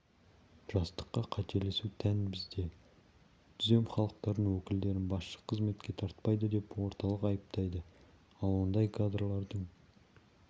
жастыққа қателесу тән бізді түзем халықтардың өкілдерін басшы қызметке тартпайды деп орталық айыптайды ал ондай кадрлардың